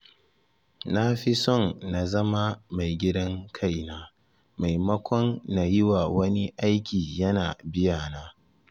Na fi son na zama maigidan kaina, maimako na yiwa wani aiki yana biyana.